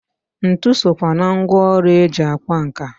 Ntụ sokwa na ngwọrụ eji akwa nka.